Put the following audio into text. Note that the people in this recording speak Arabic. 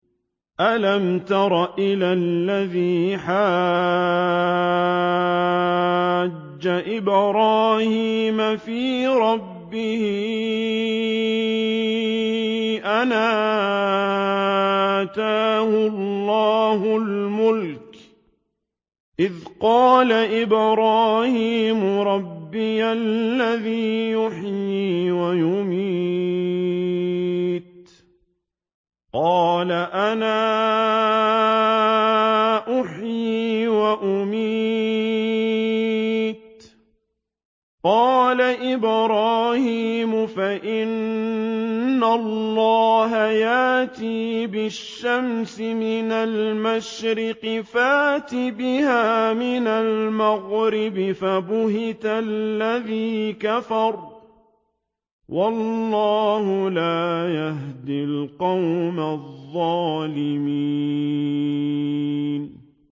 أَلَمْ تَرَ إِلَى الَّذِي حَاجَّ إِبْرَاهِيمَ فِي رَبِّهِ أَنْ آتَاهُ اللَّهُ الْمُلْكَ إِذْ قَالَ إِبْرَاهِيمُ رَبِّيَ الَّذِي يُحْيِي وَيُمِيتُ قَالَ أَنَا أُحْيِي وَأُمِيتُ ۖ قَالَ إِبْرَاهِيمُ فَإِنَّ اللَّهَ يَأْتِي بِالشَّمْسِ مِنَ الْمَشْرِقِ فَأْتِ بِهَا مِنَ الْمَغْرِبِ فَبُهِتَ الَّذِي كَفَرَ ۗ وَاللَّهُ لَا يَهْدِي الْقَوْمَ الظَّالِمِينَ